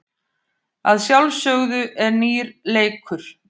Að sjálfsögðu er nýr leikur.